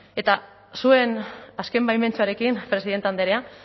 eta zuen azken baimentxoarekin presidente andrea